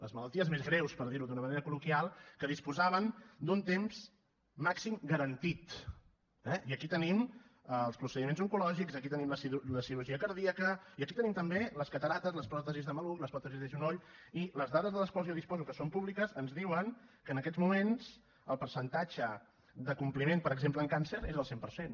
les malalties més greus per dir ho d’una manera col·loquial que disposaven d’un temps màxim garantit eh i aquí tenim els procediments oncològics aquí tenim la cirurgia cardíaca i aquí tenim també les cataractes les pròtesis de maluc les pròtesis de genoll i les dades de les quals jo disposo que són públiques ens diuen que en aquests moments el percentatge de compliment per exemple en càncer és del cent per cent